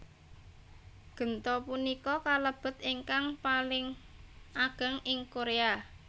Genta punika kalebet ingkang paling ageng ing Korea